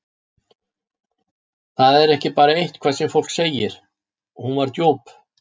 Það var ekki bara eitthvað sem fólk segir, hún var djúp.